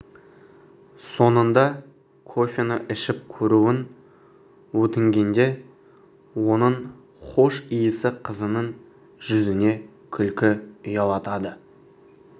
соңында кофені ішіп көруін өтінгенде оның хош иісі қызының жүзіне күлкі ұялатады